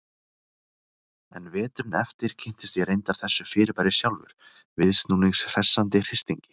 En veturinn eftir kynntist ég reyndar þessu fyrirbæri sjálfur, viðsnúnings hressandi hristingi.